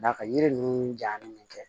Da ka yiri ninnu ja